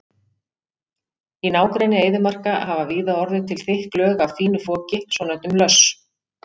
Í nágrenni eyðimarka hafa víða orðið til þykk lög af fínu foki, svonefndum löss.